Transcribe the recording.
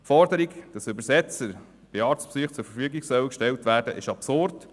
Die Forderung, dass Übersetzer bei Arztbesuchen zur Verfügung gestellt werden sollen, ist absurd.